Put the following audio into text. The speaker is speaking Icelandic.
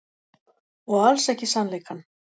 Og alls ekki sannleikann.